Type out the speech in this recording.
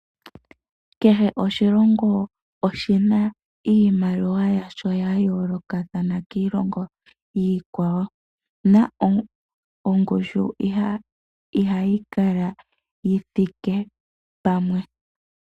Kehe oshilongo oshina iimaliwa yasho yayolokathana kiilongo iikwawo, na ongushu ihayi kala yithike pamwe.